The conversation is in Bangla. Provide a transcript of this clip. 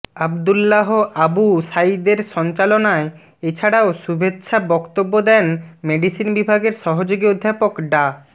আবদুলাহ আবু সাঈদের সঞ্চালনায় এছাড়াও শুভেচ্ছা বক্তব্য দেন মেডিসিন বিভাগের সহযোগী অধ্যাপক ডা